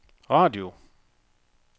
radio